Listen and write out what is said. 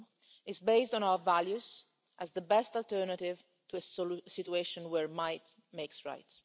It is based on our values as the best alternative to a situation where might makes right.